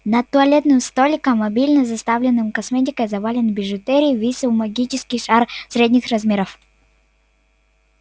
над туалетным столиком обильно заставленным косметикой и заваленным бижутерией висел магический шар средних размеров